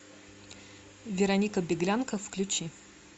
вероника беглянка включи